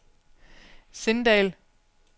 Sindal